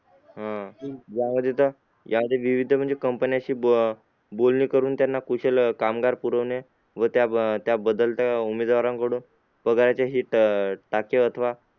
अह यामध्ये यामध्ये विविध company शी बो बोलणी करून त्यांना कुशल कामगार पुरवणी व त्या त्या बदल्यात त्या उमेदवाराकडून पगाराचे हित अं टाके अथवा